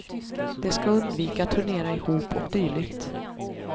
De ska undvika att turnera ihop och dylikt.